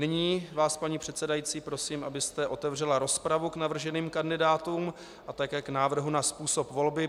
Nyní vás, paní předsedající, prosím, abyste otevřela rozpravu k navrženým kandidátům a také k návrhu na způsob volby.